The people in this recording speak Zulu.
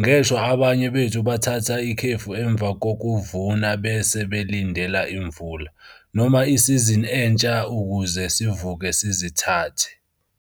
Ngeshwa abanye bethu bathatha ikhefu emva kokuvuna bese belindela imvula, noma isizini entsha ukuze sivuke sizithathe.